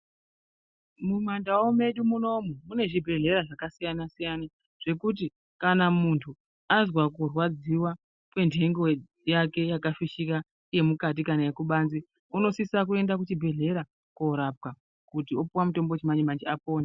Mumandau medu munomu mune zvibhedhlera zvakasiyana-siyana ,zvekuti kana muntu azwa kurwadziwa kwentengo yake yakafishika yemukati kana yekubanze, unosisa kuenda kuchibhedhlera korapwa, kuti opuwa mutombo wechimanje-manje, kuti apone.